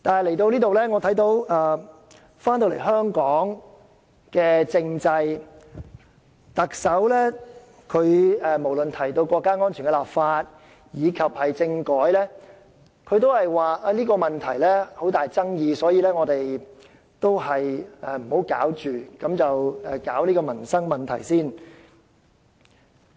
回看香港的政制，我看到特首無論是回應國家安全的立法或政改，也表示這個問題存有很大爭議，所以先不要處理，先處理民生問題。